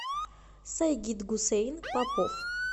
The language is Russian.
сайгидгусейн попов